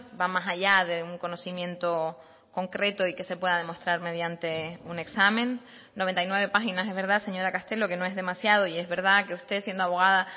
va más allá de un conocimiento concreto y que se pueda demostrar mediante un examen noventa y nueve páginas es verdad señora castelo que no es demasiado y es verdad que usted siendo abogada